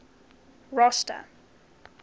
rosta